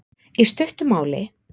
Í stuttu máli